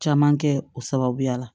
Caman kɛ o sababuya la